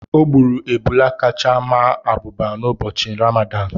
O gburu ebulé kacha maa abụba n’ụbọchị Rámádán